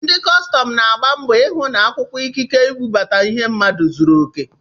Ndị kọstọm na-agba mbọ ịhụ na akwụkwọ ikike mbubata ihe mmadụ zụrụ oke.